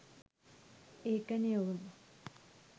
ඒකනේ ඔවුන්